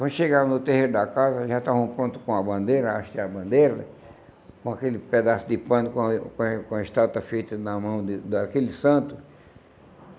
Quando chegaram no terreiro da casa, já estavam pronto com a bandeira, astear a bandeira, com aquele pedaço de pano, com a eh com a com a estátua feita na mão da de daquele santo.